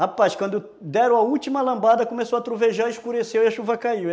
Rapaz, quando deram a última lambada, começou a trovejar, escureceu e a chuva caiu.